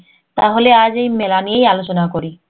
তাহলে আজ এই মেই মেলা নিয়েই আলোচনা করি